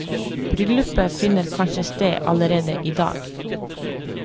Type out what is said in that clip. Bryllupet finner kanskje sted allerede i dag.